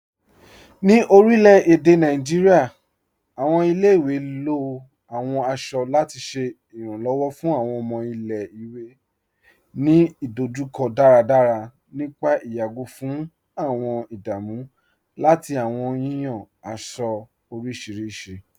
Ní orilẹ̀-èdè Nàìjíríà, awọn ilẹ̀-ìwé ló awọn aṣọ lati ṣẹ iranlọ́wọ fun awọn ọmọ ilẹ̀-ìwé ni idojukọ daradara nípà ìyàgó fun awọn ìdámù lati awọn yiyan aṣọ orísiríṣi.